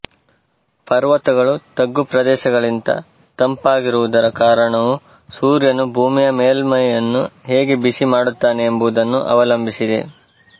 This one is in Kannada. ಪರ್ವತಗಳು ತಗ್ಗು ಪ್ರದೇಶಗಳಿಗಿಂತ ತಂಪಾಗಿರುವುದರ ಕಾರಣವು ಸೂರ್ಯನು ಭೂಮಿಯ ಮೇಲ್ಮೈಯನ್ನು ಹೇಗೆ ಬಿಸಿ ಮಾಡುತ್ತಾನೆ ಎಂಬುದನ್ನು ಅವಲಂಬಿಸಿದೆ